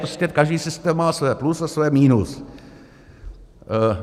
Prostě každý systém má svoje plus a svoje minus.